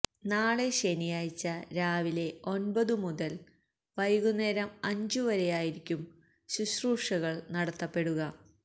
നാളെ ശനിയാഴ്ച രാവിലെഒന്പതു മുതല് വൈകുന്നേരം അഞ്ചു വരെയായിരിക്കും ശുശ്രൂഷകള് നടത്തപ്പെടുക